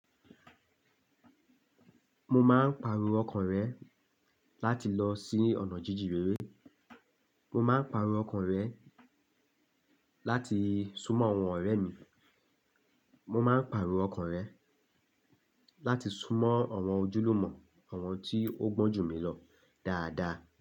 Mo máa ń pariwo ọkàn rẹ̀ láti lọ sí ọ̀nà jíjire. Mo máa ń pariwo ọkàn rẹ̀ láti súnmọ́ àwọn ọ̀rẹ́ mi. Mo máa ń pariwo ọkàn rẹ̀ láti súnmọ́ àwọn ojúlùmọ̀, àwọn tí ó gbọ́njù mi lọ dáadáa.